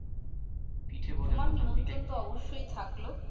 তোমার নিমন্ত্রন তো অবশ্যই থাকলো ।